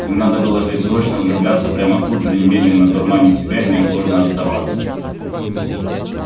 им надо было жить срочно влюбляться прямо тут же немедленно дурманить себя и неотложно отдаваться